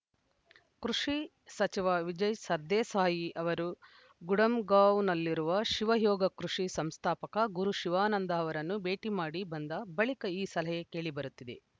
ಕೃಷಿ ಸಚಿವ ವಿಜಯ್‌ ಸರ್ದೇಸಾಯಿ ಅವರು ಗುಡಂಗಾಂವ್‌ನಲ್ಲಿರುವ ಶಿವ ಯೋಗ ಕೃಷಿ ಸಂಸ್ಥಾಪಕ ಗುರು ಶಿವಾನಂದ ಅವರನ್ನು ಭೇಟಿ ಮಾಡಿ ಬಂದ ಬಳಿಕ ಈ ಸಲಹೆ ಕೇಳಿಬರುತ್ತಿದೆ